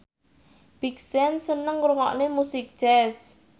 Big Sean seneng ngrungokne musik jazz